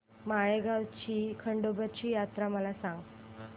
माळेगाव ची खंडोबाची यात्रा मला सांग